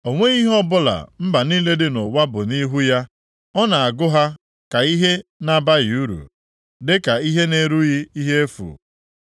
O nweghị ihe ọbụla mba niile dị nʼụwa bụ nʼihu ya; ọ na-agụ ha ka ihe na-abaghị uru, dịka ihe na-erughị ihe efu.